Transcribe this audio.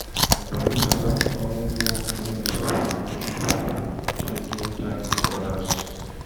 I go list out all work wey I suppose do sharp sharp take get time for odas